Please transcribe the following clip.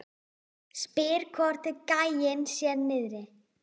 Spyr hvort gæinn sé niðri.